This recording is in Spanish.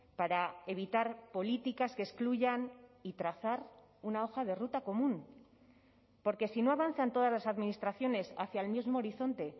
para evitar políticas que excluyan y trazar una hoja de ruta común porque si no avanzan todas las administraciones hacia el mismo horizonte